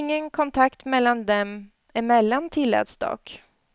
Ingen kontakt dem emellan tilläts dock.